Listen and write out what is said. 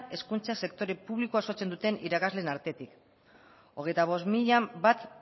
hezkuntza sektore publikoa osatzen duten irakasleen artetik hogeita bost mila bat